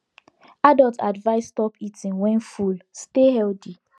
adults advised stop eating when full stay healthy